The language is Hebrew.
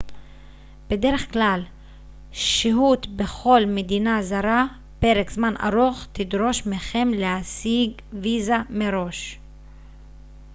בדרך כלל שהות בכל מדינה זרה פרק זמן ארוך תדרוש מכם להשיג ויזה מראש